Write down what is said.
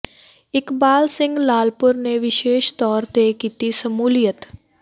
ਇਕਬਾਲ ਸਿੰਘ ਲਾਲਪੁਰਾ ਨੇ ਵਿਸ਼ੇਸ਼ ਤੌਰ ਤੇ ਕੀਤੀ ਸ਼ਮੂਲੀਅਤ